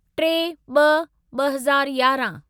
टे ॿ ॿ हज़ार यारहं